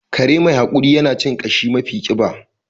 Kare mai haƙuri yana cin ƙashi mafi ƙiba